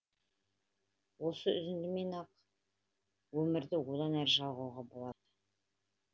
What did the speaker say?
осы үзіндімен ақ өмірді одан әрі жалғауға болады